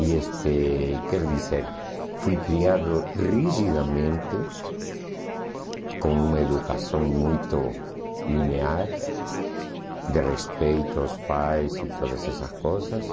E este, quer dizer, fui criado rigidamente, com uma educação muito linear, de respeito aos pais e todas essas coisas.